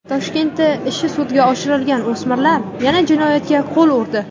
Toshkentda ishi sudga oshirilgan o‘smirlar yana jinoyatga qo‘l urdi.